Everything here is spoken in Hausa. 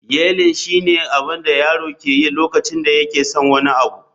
yeiling shine abin da yaro yake yi lokacin da yake son wani abu